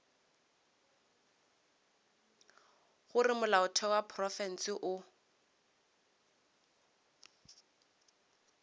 gore molaotheo wa profense o